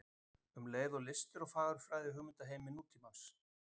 Um listir og fagurfræði í hugmyndaheimi nútímans.